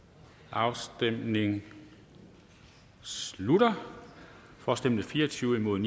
afstemningen slutter for stemte fire og tyve imod